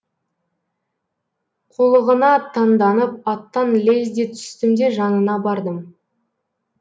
қулығына таңданып аттан лезде түстім де жанына бардым